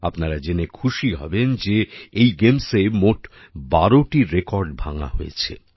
আপনারা জেনে খুশি হবেন যে এই গেমসএ মোট ১২টি রেকর্ড ভাঙা হয়েছে